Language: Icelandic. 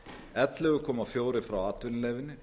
ellefu komma fjögur frá atvinnulífinu